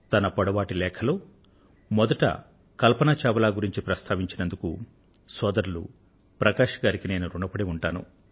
తన పొడవాటి లేఖలో మొదట కల్పన చావ్లా ను గురించి ప్రస్తావించినందుకు సోదరులు ప్రకాశ్ గారికి నేను ఋణపడి ఉంటాను